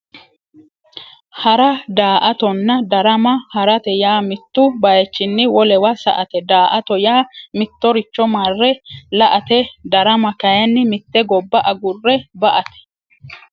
Hara daa"attonna darama harate yaa mittu baychinni wolewa sa"ate daa"atto yaa mittoricho marre la"ate darama kayinni mitte gobba agurre ba"ate